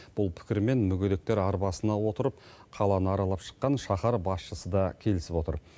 бұл пікірмен мүгедектер арбасына отырып қаланы аралап шыққан шаһар басшысы да келісіп отыр